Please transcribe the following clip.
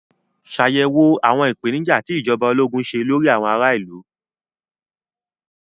Ṣàyẹ̀wò àwọn ìpèníjà tí ìjọba ológun ṣe lórí àwọn ará ìlú.